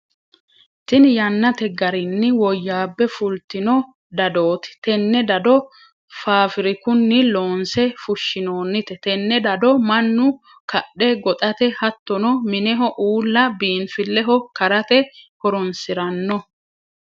Tinni yannate garinni woyaabe fultinno dadooti. Tenne dado faafirikunni loonse fushinoonnite. Tenne dado mannu kadhe goxate hattono mineho uula biinfileho karate horoonsirano.